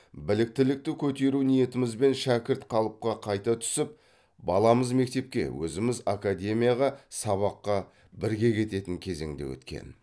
біліктілікті көтеру ниетімізбен шәкірт қалыпқа қайта түсіп баламыз мектепке өзіміз академияға сабаққа бірге кететін кезең де өткен